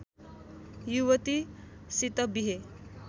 युवती सित बिहे